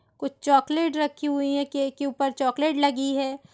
कुछ चॉकलेट रखी हुई है केक के ऊपर चॉकलेट लगी है।